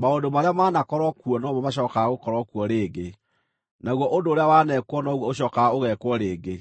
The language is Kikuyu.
Maũndũ marĩa maanakorwo kuo no mo macookaga gũkorwo kuo rĩngĩ, naguo ũndũ ũrĩa waneekwo noguo ũcookaga ũgeekwo rĩngĩ;